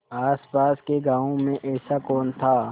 आसपास के गाँवों में ऐसा कौन था